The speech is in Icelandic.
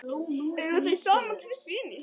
Eiga þau saman tvo syni.